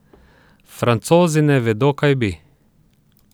Francozi ne vedo kaj bi.